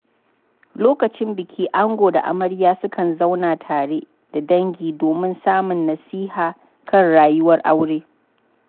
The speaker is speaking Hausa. Lokacin biki, ango da amarya sukan zauna tare da dangi domin samun nasiha kan rayuwar aure.